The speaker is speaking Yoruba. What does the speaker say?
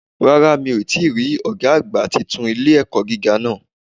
Rárá mi ò tíì rí Ọ̀gá àgbà titun ilé-ẹ̀kọ́ gíga náà